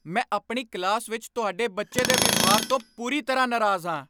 ਮੈਂ ਆਪਣੀ ਕਲਾਸ ਵਿੱਚ ਤੁਹਾਡੇ ਬੱਚੇ ਦੇ ਵਿਵਹਾਰ ਤੋਂ ਪੂਰੀ ਤਰ੍ਹਾਂ ਨਾਰਾਜ਼ ਹਾਂ!